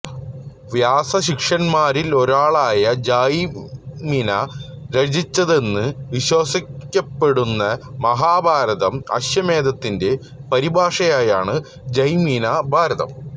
വ്യാസശിഷ്യന്മാരിലൊരാളായ ജൈമിന രചിച്ചതെന്നു വിശ്വസിക്കപ്പെടുന്ന മഹാഭാരതം അശ്വമേധത്തിന്റെ പരിഭാഷയാണ് ജൈമിന ഭാരതം